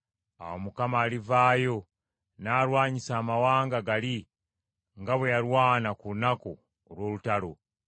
Awo Mukama alivaayo n’alwanyisa amawanga gali nga bwe yalwana ku lunaku olw’olutalo.